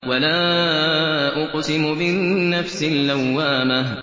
وَلَا أُقْسِمُ بِالنَّفْسِ اللَّوَّامَةِ